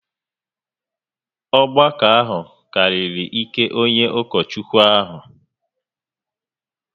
Ọgbakọ a karịrị ike onye ụkọchukwu ahụ